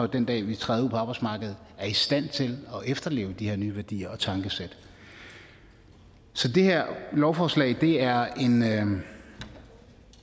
den dag de træder ud på arbejdsmarkedet er i stand til at efterleve de her nye værdier og tankesæt så det her lovforslag er